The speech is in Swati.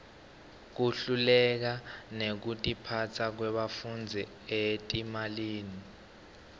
kuhleleka nekutiphasa kwebafundzi etimalini